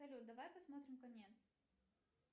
салют давай посмотрим конец